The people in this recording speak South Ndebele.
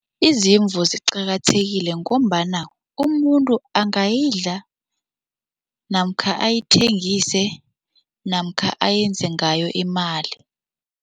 Izimvu ziqakathekile ngombana umuntu angayidlala namkha ayithengise namkha ayenze ngayo imali.